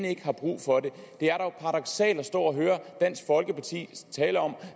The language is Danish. ikke har brug for det det er dog paradoksalt at stå og høre dansk folkeparti tale om